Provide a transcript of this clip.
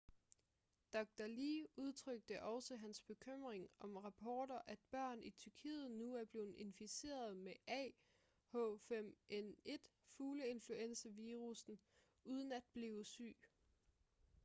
dr. lee udtrykte også hans bekymring om rapporter at børn i tyrkiet nu er blevet inficeret med ah5n1 fugleinfluenza-virussen uden at blive syge